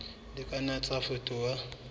di ka nna tsa fetoha